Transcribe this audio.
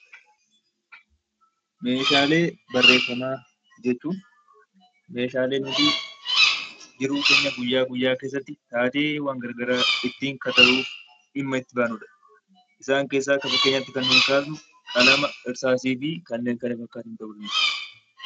Meeshaalee barreeffamaa jechuun meeshaalee nuti yeroo keenya guyyaa guyyaa keessatti, taateewwan gara garaa ittiin kalaquuf dhimma itti baanudha. Isaan keessaa akka fakkeenyaatti kan nuti kaafnu qalama, irsaasii fi kanneen kana fakkaatan ta'uu danda'u.